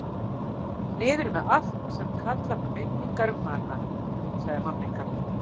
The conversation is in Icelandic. Niður með allt sem kallar fram minningar um hana, sagði mamma ykkar.